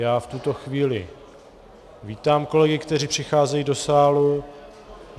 Já v tuto chvíli vítám kolegy, kteří přicházejí do sálu.